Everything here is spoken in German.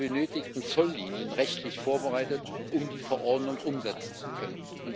Sind die benötigten Zolllinien rechtlich vorbereitet, um die Verordnung umsetzen zu können?